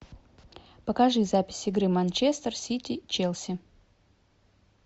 покажи запись игры манчестер сити челси